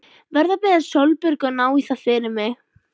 Verð að biðja Sólborgu að ná í það fyrir mig.